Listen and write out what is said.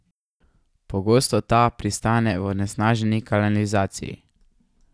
Pogosto ta pristane v onesnaženi kanalizaciji.